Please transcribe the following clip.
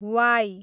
Y